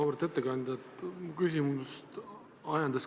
Auväärt ettekandja!